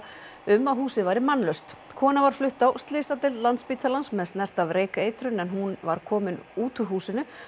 um að húsið væri mannlaust kona var flutt á slysadeild Landspítalans með snert af reykeitrun en hún var komin út úr húsinu